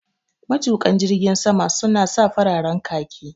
Matuƙan jirgin sama su na sa fararen khaki